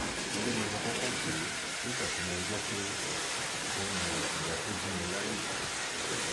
eré ni mo kọkọ pè é nígbà tí mo gbọ pé ó ń yan ìyá tó bí mi lálẹ